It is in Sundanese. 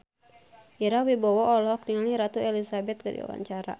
Ira Wibowo olohok ningali Ratu Elizabeth keur diwawancara